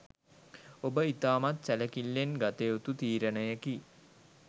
ඔබ ඉතාමත් සැලකිල්ලෙන් ගත යුතු තීරණයකි.